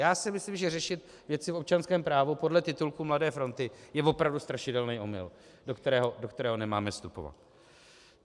Já si myslím, že řešit věci v občanském právu podle titulků Mladé fronty je opravdu strašidelný omyl, do kterého nemáme vstupovat.